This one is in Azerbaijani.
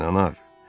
İnanaar.